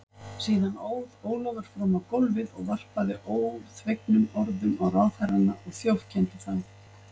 Síðan óð Ólafur fram á gólfið og varpaði óþvegnum orðum á ráðherrana og þjófkenndi þá.